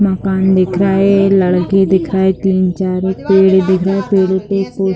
मकान दिख रहा है लड़के दिखाई तीन चार एक पेड़ दिख रहा है पेड़ों पे को --